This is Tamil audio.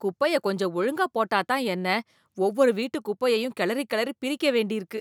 குப்பைய கொஞ்சம் ஒழுங்கா போட்டா தான் என்ன, ஒவ்வொரு வீட்டு குப்பையையும் கிளறி கிளறி பிரிக்க வேண்டி இருக்கு.